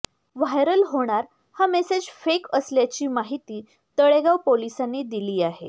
viral होणार हा message fake असल्याची माहिती तळेगाव पोलिसांनी दिली आहे